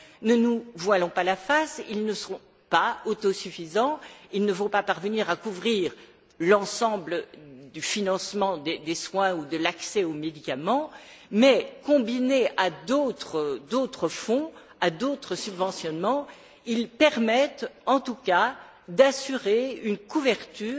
Ne nous voilons pas la face, ils ne seront pas autosuffisants, ils ne vont pas parvenir à couvrir l'ensemble du financement des soins ou de l'accès aux médicaments mais, combinés à d'autres fonds, à d'autres subventionnements, ils permettent en tout cas d'assurer une couverture